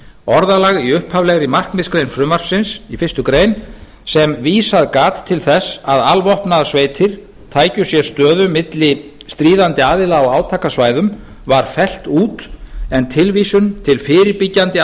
orðalag í upphaflegri markmiðsgrein frumvarpsins í fyrstu grein sem vísað gat til þess að alvopnaðar sveitir tækju sér stöðu milli stríðandi aðila á átakasvæðum var fellt út en tilvísun til fyrirbyggjandi